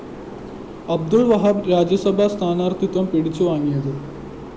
അബ്ദുള്‍ വഹാബ് രാജ്യസഭാ സ്ഥാനാര്‍ത്ഥിത്വം പിടിച്ചുവാങ്ങിയത്